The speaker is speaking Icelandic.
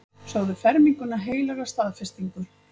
Sögðu ferminguna heilaga staðfestingu.